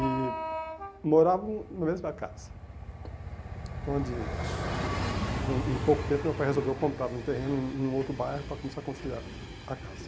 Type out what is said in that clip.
E morávamos na mesma casa, onde, com em pouco tempo, meu pai resolveu comprar um terreno em outro bairro para começar a construir a a casa.